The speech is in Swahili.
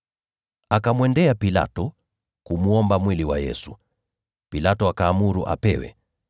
Akamwendea Pilato ili kumwomba mwili wa Yesu. Pilato akaamuru apewe.